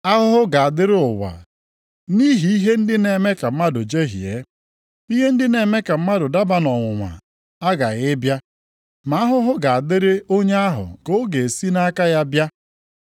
Ahụhụ ga-adịrị ụwa nʼihi ihe ndị na-eme ka mmadụ jehie. Ihe ndị na-eme ka mmadụ daba nʼọnwụnwa aghaghị ịbịa, ma ahụhụ ga-adịrị onye ahụ nke ọ ga-esite nʼaka ya bịa.